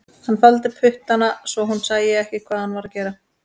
Hann faldi puttana svo hún sæi ekki hvað hann var að gera